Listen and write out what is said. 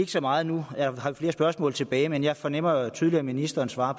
så meget nu jeg har flere spørgsmål tilbage men jeg fornemmer jo tydeligt at ministeren svarer